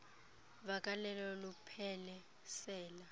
vakalelo luphele sela